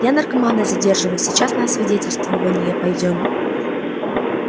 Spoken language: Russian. я наркомана задерживаю сейчас на освидетельствование пойдём